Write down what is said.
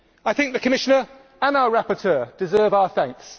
I think the Commissioner and our rapporteur deserve our thanks.